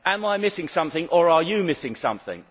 Am I missing something or are you missing something?